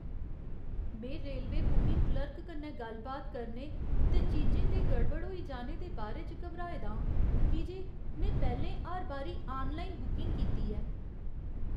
में railway booking clerk कन्नै गल्ल बात करने ते चीजें दे गड़बड़ होई जीने दे बारे च घबराए दा आं, की जे में पैह्‌लें हर बारी आनलाइन बुकिंग कीती ऐ।